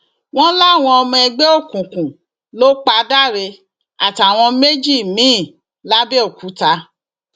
wọn láwọn ọmọ ẹgbẹ òkùnkùn ló pa dáre àtàwọn méjì mìín làbẹòkúta